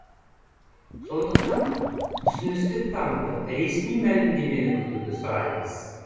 сондықтан түсіністік танытып ресми мәлімдемені күтуді сұраймыз